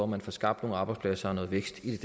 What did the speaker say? man får skabt nogle arbejdspladser og noget vækst i